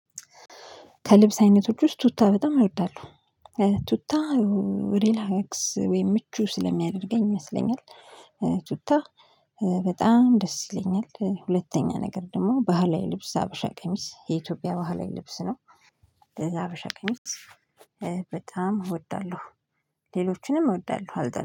ከልብስ አይነቶች ውስጥ ቱታ በጣም እወዳለው ቱታ ሪላክስ ወይም ምቹ ስለሚያደርገኝ ይመስለኛል። ቱታ በጣም ደስ ይለኛል ሁለተኛ ነገር ደግሞ ባህላዊ ልብስ ሀበሻ ቀሚስ የኢትዮጵያ ባህላዊ ልብስ ነው። ለዛ ሀበሻ ቀሚስ በጣም እወዳለሁ። ሌሎችንም እወዳለሁ አልጠላም